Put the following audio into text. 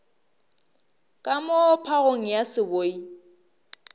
ka moo phagong ya seboi